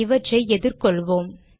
இவற்றை எதிர்கொள்வோம்